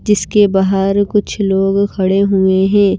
जिसके बाहर कुछ लोग खड़े हुए हैं।